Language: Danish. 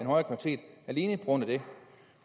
en grund af det